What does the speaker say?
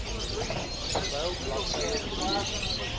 terwyl bladsy drie